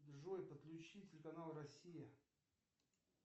джой подключи телеканал россия